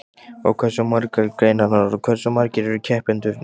Og hversu margar eru greinarnar og hversu margir eru keppendurnir?